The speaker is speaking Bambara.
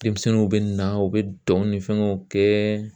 Denmisɛnninw bɛ na u bɛ dɔn ni fɛngɛw kɛ